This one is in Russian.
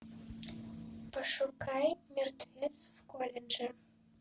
пошукай мертвец в колледже